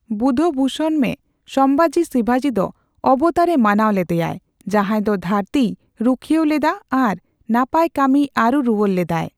ᱵᱩᱫᱷᱵᱷᱩᱥᱚᱱᱢᱮ, ᱥᱚᱢᱵᱷᱟᱡᱤ ᱥᱤᱵᱟᱡᱤ ᱫᱚ ᱚᱵᱛᱟᱨᱮ ᱢᱟᱱᱟᱣ ᱞᱮᱫᱮᱭᱟᱭ, ᱡᱟᱸᱦᱟᱭ ᱫᱚ ᱫᱷᱟᱹᱨᱛᱤᱭ ᱨᱩᱠᱷᱤᱭᱟᱹᱣ ᱞᱮᱫᱟ ᱟᱨ ᱱᱟᱯᱟᱭ ᱠᱟᱹᱢᱤᱭ ᱟᱹᱨᱩ ᱨᱩᱣᱟᱹᱲ ᱞᱮᱫᱟᱭ ᱾